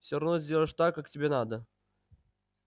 всё равно сделаешь так как тебе надо